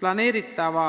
Planeeritava